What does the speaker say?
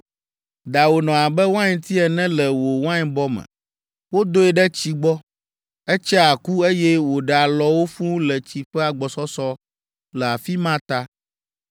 “ ‘Dawò nɔ abe wainti ene le wò wainbɔ me. Wodoe ɖe tsi gbɔ. Etsea ku, eye wòɖe alɔwo fũu le tsi ƒe agbɔsɔsɔ le afi ma ta.